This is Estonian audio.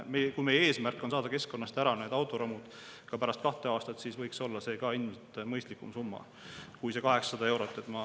Kui meie eesmärk on saada need autoromud keskkonnast ära ka pärast kahte aastat, siis võiks olla see ka mõistlikum summa kui see 800 eurot.